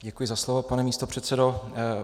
Děkuji za slovo, pane místopředsedo.